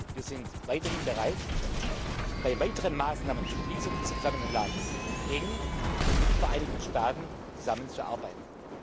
Wir sind weiterhin bereit, bei weiteren Maßnahmen zur Schließung des Gefangenenlagers eng mit den Vereinigten Staaten zusammenzuarbeiten.